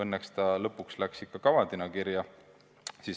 Õnneks see lõpuks läks ikka kavandina kirja.